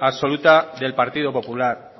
absoluta del partido popular